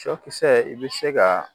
Sɔkisɛ i bɛ se ka